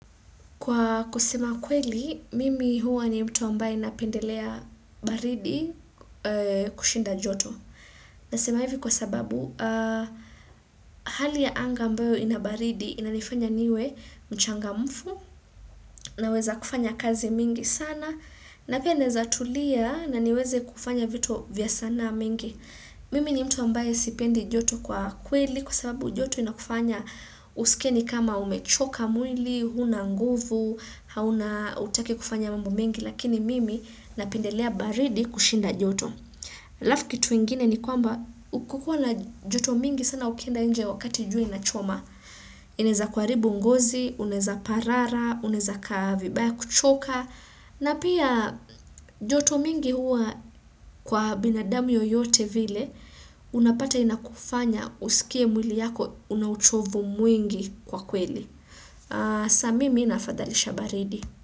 Kwa kusema ukweli, mimi huwa ni mtu ambaye napendelea baridi kushinda joto. Nasema hivi kwa sababu, hali ya anga ambayo inabaridi inanifanya niwe mchangamfu naweza kufanya kazi mingi sana. Na pia naeza tulia na niweze kufanya vitu vya sanaa mingi. Mimi ni mtu ambaye sipendi joto kwa kweli kwa sababu joto inakufanya usikie ni kama umechoka mwili, huna nguvu, hauna hutaki kufanya mambo mengi lakini mimi napendelea baridi kushinda joto. Halafu kitu ingine ni kwamba ukukoa na joto mingi sana ukienda nje wakati jua inachoma. Inaeza kuharibu ngozi, unaeza parara, unaeza kaa vibaya kuchoka. Na pia joto mingi hua kwa binadamu yoyote vile, unapata inakufanya usikie mwili yako una uchovu mwingi kwa kweli. Sa mimi nafadhalisha baridi.